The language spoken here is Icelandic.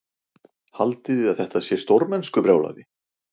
Haldiði að þetta sé stórmennskubrjálæði?